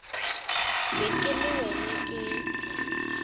be ke le wena ke